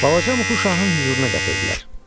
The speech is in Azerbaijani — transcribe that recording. Balaca Muqu şahın hüzuruna gətirdilər.